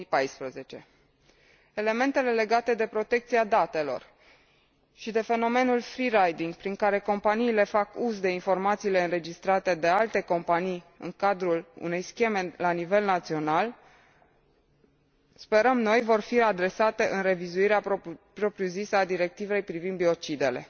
2014. Elementele legate de protecția datelor și de fenomenul free riding, prin care companiile fac uz de informațiile înregistrate de alte companii în cadrul unei scheme la nivel național, sperăm noi, vor fi adresate în revizuirea propriu zisă a Directivei privind biocidele.